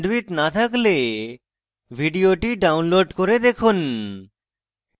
ভাল bandwidth না থাকলে ভিডিওটি download করে দেখুন